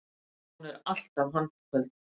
Hún er alltaf handköld.